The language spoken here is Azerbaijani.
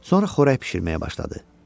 Sonra xörək bişirməyə başladı.